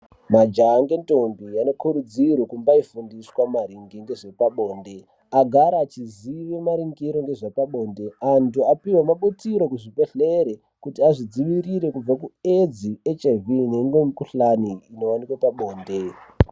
Majaha nendombi anokurudzirwa kumbifundiswa maringe nezvepabonde, agare achiziya marongero ezvepabonde antu apiwe mabutiro kuzvibhehlere kuti azvidzivirire kubva ku AIDS HIV neimwe mikhuhlani inowanikwa pabonde.